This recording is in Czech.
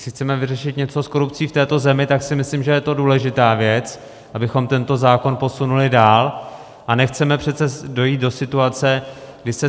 Jestli chceme vyřešit něco s korupcí v této zemi, tak si myslím, že je to důležitá věc, abychom tento zákon posunuli dál, a nechceme přece dojít do situace, kdy se